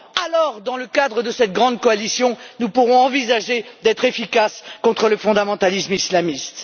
Alors, dans le cadre de cette grande coalition, nous pourrons envisager d'être efficaces contre le fondamentalisme islamiste.